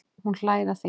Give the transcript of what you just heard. Hún hlær að því.